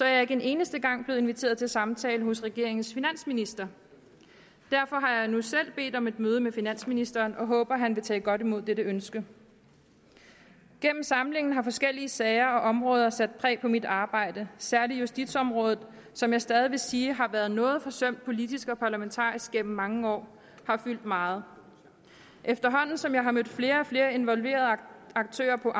jeg ikke en eneste gang blevet inviteret til samtale hos regeringens finansminister derfor har jeg nu selv bedt om et møde med finansministeren og håber at han vil tage godt imod dette ønske gennem samlingen har forskellige sager og områder sat præg på mit arbejde særlig justitsområdet som jeg stadig vil sige har været noget forsømt politisk og parlamentarisk gennem mange år har fyldt meget efterhånden som jeg har mødt flere og flere involverede aktører på